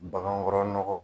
Bagankɔrɔ nɔgɔ